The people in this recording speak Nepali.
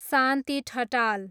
शान्ति ठटाल